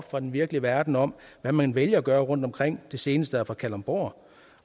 fra den virkelige verden om hvad man vælger at gøre rundtomkring det seneste eksempel er fra kalundborg